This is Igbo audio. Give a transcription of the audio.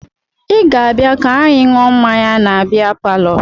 Ị ga-abịa ka anyị ṅụọ mmanya na bịa palọ!